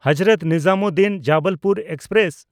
Hazrat Nizamuddin-Jabalpur express